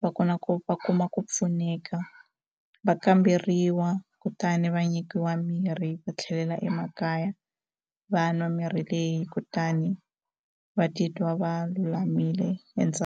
va kona ku va kuma ku pfuneka va kamberiwa kutani va nyikiwa mirhi va tlhelela emakaya va nwa mirhi leyi kutani va titwa va lulamile .